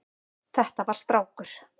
Þetta var strákur.